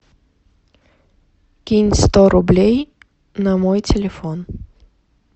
кинь сто рублей на мой телефон